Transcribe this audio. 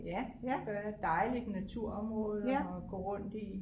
Ja det gør jeg dejligt naturområde at gå rundt i